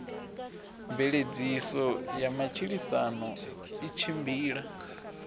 mveledziso ya matshilisano i tshimbila